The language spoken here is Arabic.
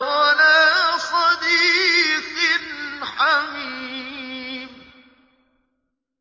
وَلَا صَدِيقٍ حَمِيمٍ